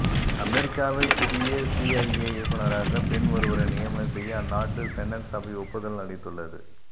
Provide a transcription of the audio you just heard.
அமெரிக்காவில் புதிய சிஐஏ இயக்குனராக பெண் ஒருவரை நியமனம் செய்ய அந்நாட்டு செனட் சபை ஒப்புதல் அளித்துள்ளது